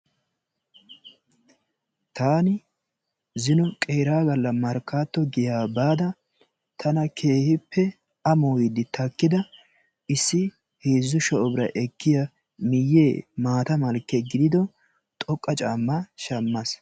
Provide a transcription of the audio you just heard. Taani zino qeera galla Markkato giya baada taana keehippe amoydde takkida issi heezzu shaa'u birra ekkiya miyye maata malke gidido keehippe xoqqa caamma shammas.